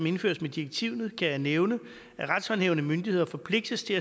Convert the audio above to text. indføres med direktivet kan jeg nævne at retshåndhævende myndigheder forpligtes til